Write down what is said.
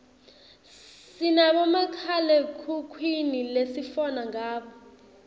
sinabomakhalekhukhwini lesifona ngabo